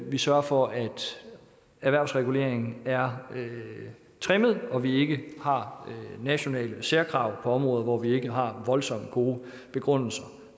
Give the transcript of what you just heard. vi sørger for at erhvervsreguleringen er trimmet og vi ikke har nationale særkrav på områder hvor vi ikke har voldsomt gode begrundelser